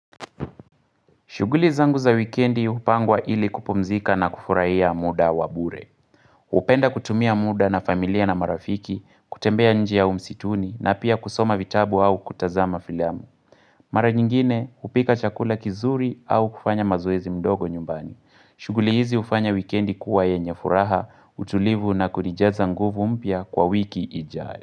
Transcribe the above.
Shughuli zangu za wikendi hupangwa ili kupumzika na kufurahia muda wa bure. Hupenda kutumia muda na familia na marafiki, kutembea njia ya umsituni na pia kusoma vitabu au kutazama filamu. Mara nyingine hupika chakula kizuri au kufanya mazoezi mdogo nyumbani. Shughuli hizi hufanya wikendi kuwa yenye furaha, utulivu na kunijaza nguvu mpya kwa wiki ijayo.